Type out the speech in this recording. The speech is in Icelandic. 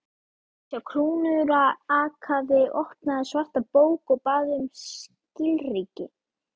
Sá krúnurakaði opnaði svarta bók og bað um skilríki.